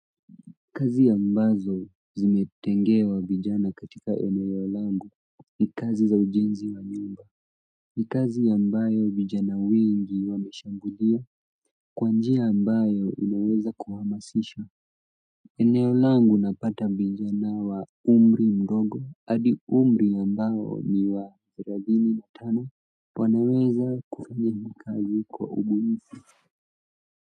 Kazi ambazo zimetengewa vijana katika eneo langu ni kazi za ujenzi wa nyumba. Ni kazi ambayo vijana wengi wameshambulia. Kwanjia ambayo unaweza kuhamasisha eneo langu napata vijana wa umri mdogo hadi umri ambao ni wa miaka thelani na tano wanaweza kufanya kazi kwa ubunifu.